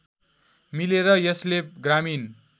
मिलेर यसले ग्रामीण